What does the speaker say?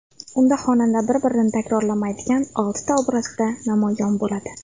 Unda xonanda bir-birini takrorlamaydigan oltita obrazda namoyon bo‘ladi.